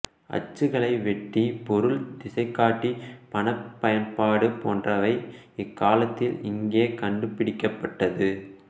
அச்சுக்கலை வெடி பொருள் திசைகாட்டி பணப் பயன்பாடு போன்றவை இக் காலத்தில் இங்கே கண்டுபிடிக்கப்பட்டது